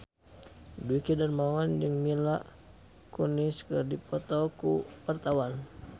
Dwiki Darmawan jeung Mila Kunis keur dipoto ku wartawan